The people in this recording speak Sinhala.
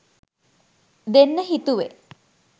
දෙන්න හිතුවේ.